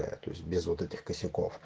да то есть без вот этих косяков